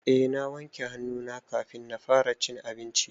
Eh na wanke hannu na kafin na fara cin abinci.